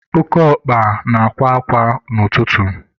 Oke ọkpa na-akwa kwa ụtụtụ.